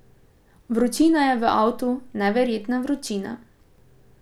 Vročina je v avtu, neverjetna vročina.